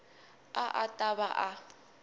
a a ta va a